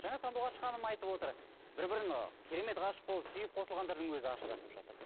жаңа сандуғаш ханым айтып отыр бір бірін керемет ғашық болып сүйіп қосылғандардың өзі ажырасып жатыр деп